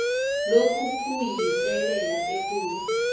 lokhu kuyiselela ekulu